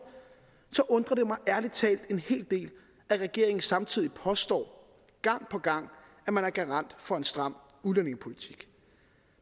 så undrer det mig ærlig talt en hel del at regeringen samtidig påstår gang på gang at man er garant for en stram udlændingepolitik